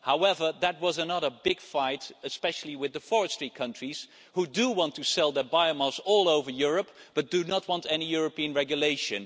However, that was another big fight, especially with the forestry countries who do want to sell their biomass all over Europe but do not want any European regulation.